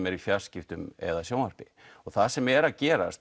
er í fjarskiptum eða sjónvarpi það sem er að gerast